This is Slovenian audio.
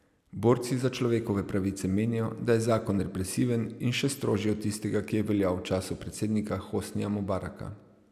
Borci za človekove pravice menijo, da je zakon represiven in še strožji od tistega, ki je veljal v času predsednika Hosnija Mubaraka.